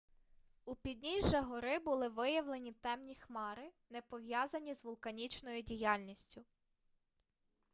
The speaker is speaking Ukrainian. у підніжжя гори були виявлені темні хмари не пов'язані з вулканічною діяльністю